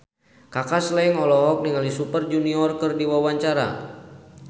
Kaka Slank olohok ningali Super Junior keur diwawancara